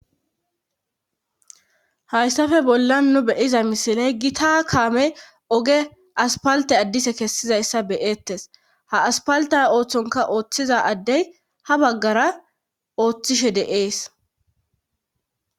hayssafe bollan nu beyiza misiley gita kaamey oge aspalte addise kessizayssa beyeettes ha aspalta ooththonka ooththiza addey ha baggara ooththishe de'ees